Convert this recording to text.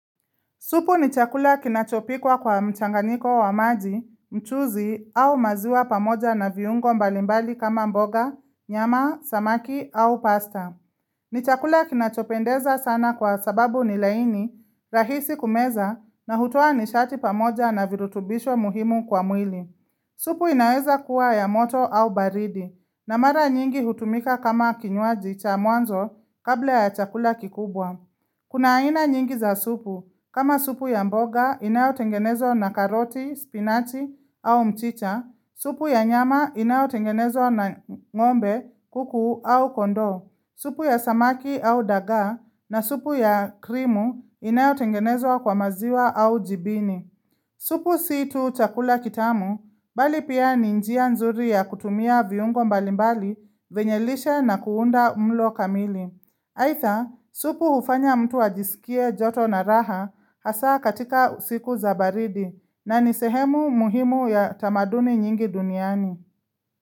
Supu ni chakula kinachopikwa kwa mchanganiko wa maji, mchuzi au maziwa pamoja na viungo mbalimbali kama mboga, nyama, samaki au pasta. Ni chakula kinachopendeza sana kwa sababu ni laini, rahisi kumeza na hutua nishati pamoja na virutubisho muhimu kwa mwili. Supu inaweza kuwa ya moto au baridi, na mara nyingi hutumika kama kinyuaji cha mwanzo kabla ya chakula kikubwa. Kuna aina nyingi za supu, kama supu ya mboga inayotengenezo na karoti, spinachi au mchicha, supu ya nyama inayotengenezo na ng'ombe, kuku au kondo, supu ya samaki au dagaa na supu ya krimu inayo tengenezo kwa maziwa au jibini. Supu si tu chakula kitamu, bali pia ni njia nzuri ya kutumia viungo mbalimbali, venyelishe na kuunda mlo kamili. Haitha, supu ufanya mtu ajisikie joto na raha hasa katika usiku za baridi na nisehemu muhimu ya tamaduni nyingi duniani.